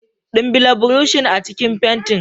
dimbila burushin a cikin fentin.